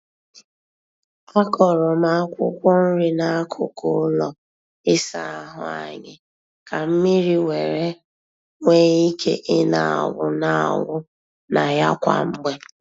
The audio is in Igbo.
A kọrọ m akwụkwọ nri n'akụkụ ụlọ ịsa ahụ anyị ka mmiri were nwee ike ị na-awụ na-awụ na ya kwa mgbe.